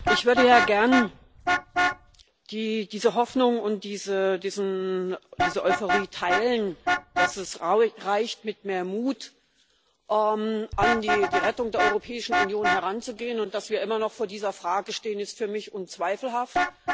Ich würde ja gern diese Hoffnung und diese Euphorie teilen, dass es reicht mit, mehr Mut an die Rettung der Europäischen Union heranzugehen, und dass wir immer noch vor dieser Frage stehen, ist für mich unzweifelhaft.